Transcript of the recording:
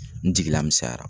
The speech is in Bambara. N jigila misɛnyara.